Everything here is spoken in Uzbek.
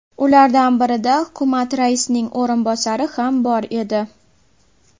Ulardan birida hukumat raisining o‘rinbosari ham bor edi.